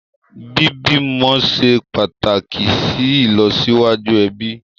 Bí bímọ ṣe pàtàkì sì ìlọsíwájú ẹbí